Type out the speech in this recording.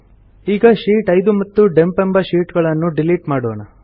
ಈಗ ಶೀಟ್ 5 ಮತ್ತು ಡಂಪ್ ಎಂಬ ಶೀಟ್ ಗಳನ್ನು ಡಿಲೀಟ್ ಮಾಡೋಣ